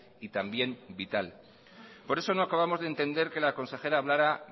y también vital por eso no acabamos de entender que la consejera hablara